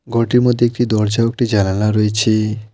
ঘরটির মধ্যে একটি দরজা ও একটি জানালা রয়েছে-এ।